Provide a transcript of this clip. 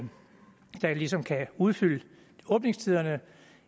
ligesom kan udfylde åbningstiderne